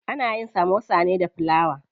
Ana yin samosa ne da filawa.